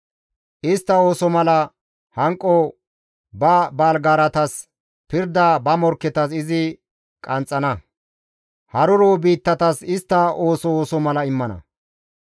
Istta ooso mala hanqo ba baalgaaratas, pirda ba morkketas izi qanxxana. Haruro biittatas istta ooso ooso mala immana.